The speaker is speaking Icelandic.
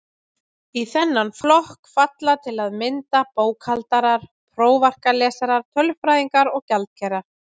Í þennan flokk falla til að mynda bókhaldarar, prófarkalesarar, tölfræðingar og gjaldkerar.